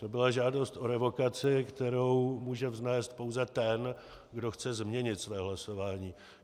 To byla žádost o revokaci, kterou může vznést pouze ten, kdo chce změnit své hlasování.